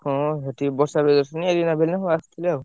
ହଁ ଏଠି ବର୍ଷା ପ୍ରିୟଦର୍ଶିନୀ, ଏଲିନା ଫେଲୀନା ସବୁ ଆସିଥିଲେ ଆଉ।